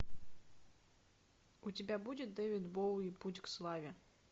у тебя будет дэвид боуи путь к славе